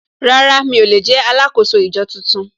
Rárá mi ò lè jẹ́ alákòóso ìjọ tuntun